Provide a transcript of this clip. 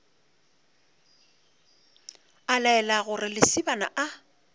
a laela gore lesibana a